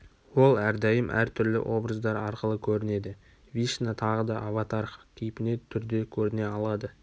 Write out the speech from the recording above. ол әрдайым әр түрлі образдар арқылы көрінеді вишна тағы да аватарх кейпіне түрде көріне алады